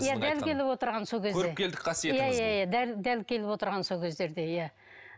иә дәл келіп отырған сол кезде көріпкелдік қасиетіңіз дәл келіп отырған сол кездерде иә